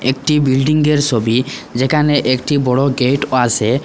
একটি বিল্ডিংয়ের সবি যেখানে একটি বড় গেট পাশে।